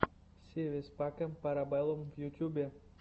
си вис пакэм пара бэллум в ютюбе